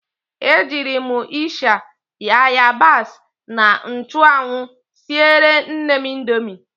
E jiiri m ịsha, ayabas na nchụanwụ siere nnem indomi.